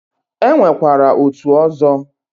E nwekwara otu ọzọ.